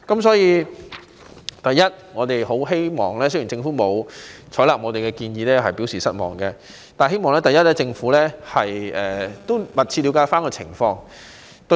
雖然我們對政府沒有採納我們的建議表示失望，但希望政府能密切了解有關情況。